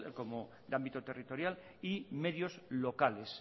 como de ámbito territorial y medios locales